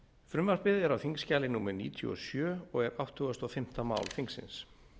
frumvarpið er á þingskjali níutíu og sjö og er áttugasta og fimmta mál þingsins